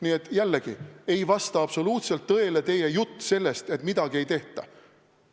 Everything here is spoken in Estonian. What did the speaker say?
Nii et jällegi ei vasta absoluutselt tõele teie jutt sellest, et midagi ei tehta.